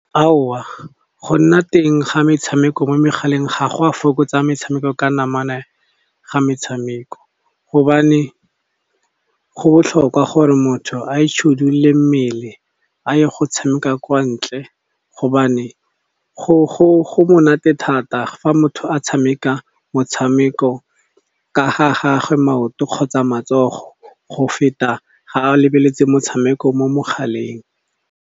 Aowa go nna teng ga metshameko mo megaleng ga go a fokotsa metshameko ka namana ga metshameko. Gobane go botlhokwa gore motho a itshidile mmele a ye go tshameka kwa ntle, gobane go monate thata fa motho a tshameka motshameko, ka ga gagwe maoto kgotsa matsogo, go feta ga a lebeletse motshameko mo mogaleng.